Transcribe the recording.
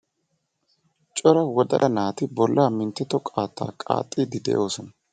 Cora wodalla naati bolla minttetto qaattaa qaaxxiiddi de'oosona.